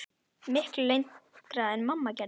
Miklu lengra en mamma gerði.